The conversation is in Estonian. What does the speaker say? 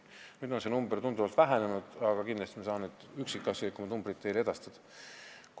Nüüd on see number tunduvalt vähenenud, aga kindlasti saan ma üksikasjalikumad numbrid teile edastada.